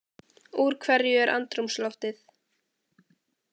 Úr hverju er andrúmsloftið?